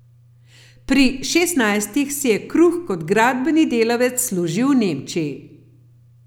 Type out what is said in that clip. Pri šestnajstih si je kruh kot gradbeni delavec služil v Nemčiji.